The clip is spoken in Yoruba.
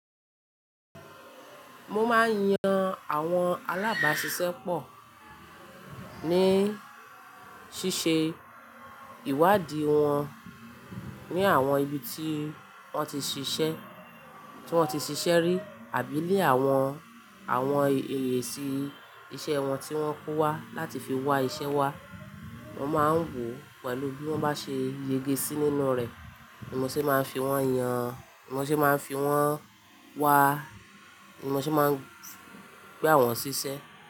Mo máa ń yan àwọn alábàáṣiṣẹ́ pọ̀, ní ṣíṣe ìwádìí wọn ní àwọn ibi tí wọ́n ti ṣiṣẹ́, tí wọ́n ti ṣiṣẹ́ rí àbí ni àwọn, àwọn èsí iṣẹ́ wọn tí wọ́n kó wá láti fi wá iṣẹ́ wa. Mo máa ń wò pẹ̀lú bí wọ́n bá ṣe yege sí nínú rẹ̀, ní mo ṣe máa ń fi wọ́n yan, ní mo ṣe máa ń fi wọ́n wa, ní mo ṣe máa ń gba wọn ṣíṣẹ́.